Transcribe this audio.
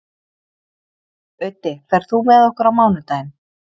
Auddi, ferð þú með okkur á mánudaginn?